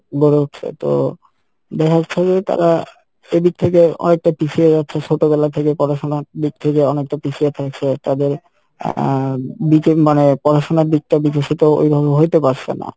গড়ে উঠসে তো দেখা যাচ্ছে যে তারা এদিক থেকে অনেকটা পিছিয়ে যাচ্ছে ছোটবেলা থেকে পড়াশোনা দিক থেকে অনেকটা পিছিয়ে থাকছে তাদের আহ মানে পড়াশোনার দিক টা বিকশিত ওইভাবে হইতে পারসে না